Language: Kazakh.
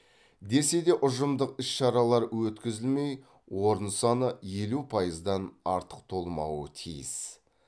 десе де ұжымдық іс шаралар өткізілмей орын саны елу пайыздан артық толмауы тиіс